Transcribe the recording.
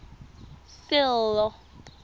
sello